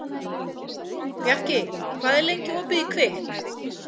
Bjarki, hvað er lengi opið í Kvikk?